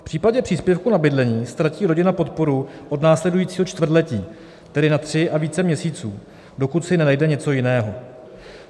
V případě příspěvku na bydlení ztratí rodina podporu od následujícího čtvrtletí, tedy na tři a více měsíců, dokud si nenajde něco jiného.